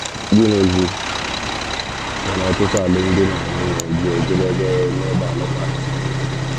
Gịnịzi mere ọtụtụ alụmdi na nwunye ji ejedebe n’ịgba alụkwaghịm?